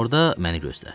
Orda məni gözlə.